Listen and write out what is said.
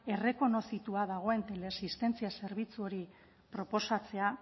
errekonozitua dagoen teleasistentzia zerbitzu hori proposatzea